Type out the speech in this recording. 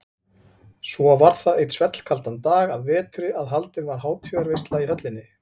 Svo var það einn svellkaldan dag að vetri að haldin var hátíðarveisla í höllinni.